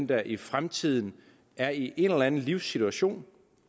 der i fremtiden er i en eller andet livssituation